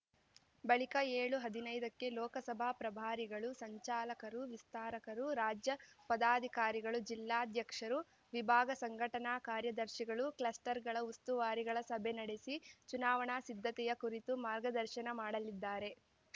ಬಳಿಕ ಏಳುಹದಿನೈದಕ್ಕೆ ಲೋಕಸಭಾ ಪ್ರಭಾರಿಗಳು ಸಂಚಾಲಕರು ವಿಸ್ತಾರಕರು ರಾಜ್ಯ ಪದಾಧಿಕಾರಿಗಳು ಜಿಲ್ಲಾಧ್ಯಕ್ಷರು ವಿಭಾಗ ಸಂಘಟನಾ ಕಾರ್ಯದರ್ಶಿಗಳು ಕ್ಲಸ್ಟರ್‌ಗಳ ಉಸ್ತುವಾರಿಗಳ ಸಭೆ ನಡೆಸಿ ಚುನಾವಣಾ ಸಿದ್ಧತೆಯ ಕುರಿತು ಮಾರ್ಗದರ್ಶನ ಮಾಡಲಿದ್ದಾರೆ